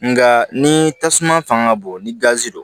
Nka ni tasuma fanga bon ni gazi don